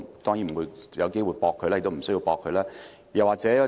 我沒有機會駁斥他，亦沒有需要這樣做。